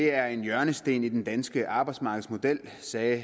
er en hjørnesten i den danske arbejdsmarkedsmodel sagde